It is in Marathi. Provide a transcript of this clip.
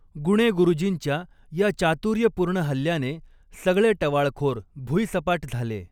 गुणे गुरुजींच्या या चातुर्यपूर्ण हल्ल्याने सगळे टवाळखोर भुईसपाट झाले.